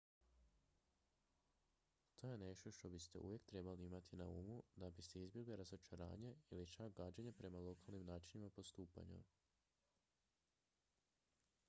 to je nešto što biste uvijek trebali imati na umu da biste izbjegli razočaranje ili čak gađenje prema lokalnim načinima postupanja